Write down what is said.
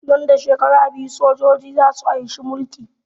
Nan da shekara biyu sojoji za su anshi mulki